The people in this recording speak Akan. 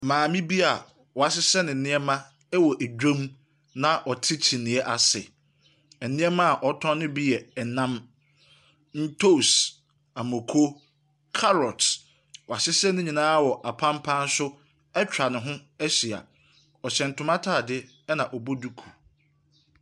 Maame bi a wɔahyehyɛ ne nneɛma wɔ dwam na ɔte kyiniiɛ ase. Nneɛma a ɔretɔn no bi yɛ nam, ntoos, amoko, karɔt. Wɔahyehyɛ ne nyinaa wɔ apampan so atwa ne ho ahyia. Ɔhyɛ ntoma ataade na ɔbɔ duku.